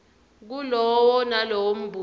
kulowo nalowo mbuto